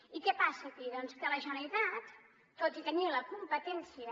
i què passa aquí doncs que la generalitat tot i tenir·ne la competència